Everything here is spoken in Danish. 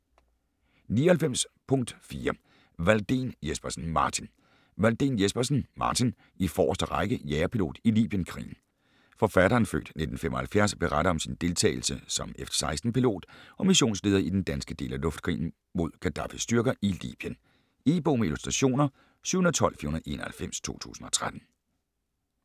99.4 Walldén Jespersen, Martin Walldén Jespersen, Martin: I forreste række: jagerpilot i libyenkrigen Forfatteren (f. 1975) beretter om sin deltagelse som F-16 pilot og missionsleder i den danske del af luftkrigen mod Gadaffis styrker i Libyen. E-bog med illustrationer 712491 2013.